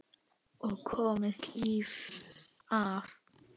Og komist lífs af.